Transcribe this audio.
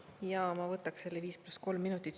Jaa, ma võtaks selle viis pluss kolm minutit.